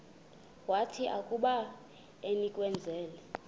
wathi akuba enikezelwe